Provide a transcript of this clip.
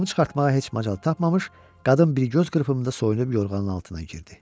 Paltonu çıxartmağa heç macal tapmamış, qadın bir göz qırpımında soyunub yorğanın altına girdi.